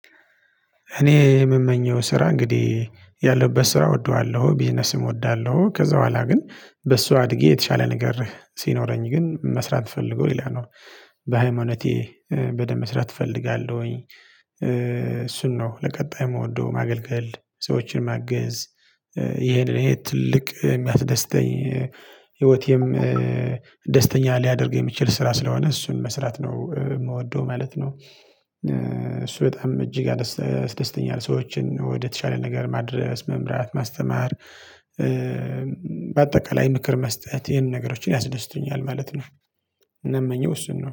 እኔ የምመኘው ስራ እንግዲህ ያለሁበት ስራ እወደዋለሁ ቢዝነስም እወደዋለሁ ከዛ በኋላ ግን በሷ አድጌ የተሻለ ነገር ሲኖረኝ ግን መስራት ፈልጎ ሌላ ነው በሃይማኖቴ በደንብ መስራት እፈልጋለሁኝ እሱን ነው ለቀጣይ የምወደው ማገልገል ሰዎችን ማገዝ ይሄ ለኔ ትልቅ የሚያስደስተኝ ህይወቴም ደስተኛ ሊያደርግ የሚችል ስራ ስለሆነ እሱን መስራት ነው የምወደው ማለት ነው። እሱ በጣም እጅግ ያደስተኛል ሰዎችን ወደተሻለ ነገር ማድረስ መምራት ማስተማር በአጠቃላይ ምክር መስጠት ይሄንን ነገሮችን ያስደስቱኛል ማለት ነው። እምመኘው እሱን ነው